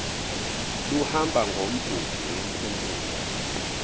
luhamba ngomgudu wempumulo